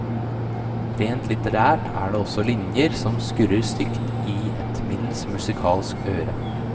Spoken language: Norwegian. Rent litterært er det også linjer som skurrer stygt i et middels musikalsk øre.